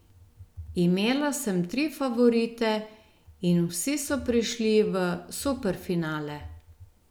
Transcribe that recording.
Imela sem tri favorite in vsi so prišli v superfinale.